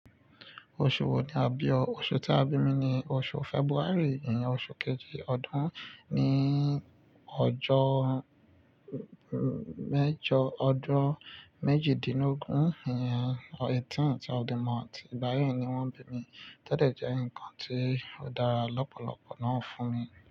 Oṣù wo ni a bí ọ? Oṣù tí a bí mi ni oṣù February, ìyẹn oṣù kejì ọdún, ní ọjọ́ mejo odun méjìdínlógún, ìyẹn eighteenth of the month. Ìgbáyi ni wọ́n bí mi. Todẹ̀ jẹ́ ǹkan ti ó dára lọ́pọ̀lọpọ̀ náà ń fún mi.